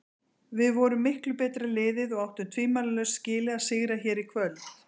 Við vorum miklu betra liðið og áttum tvímælalaust skilið að sigra hér í kvöld.